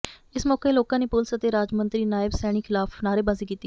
ਇਸ ਮੌਕੇ ਲੋਕਾਂ ਨੇ ਪੁਲੀਸ ਅਤੇ ਰਾਜ ਮੰਤਰੀ ਨਾਇਬ ਸੈਣੀ ਖ਼ਿਲਾਫ਼ ਨਾਅਰੇਬਾਜ਼ੀ ਕੀਤੀ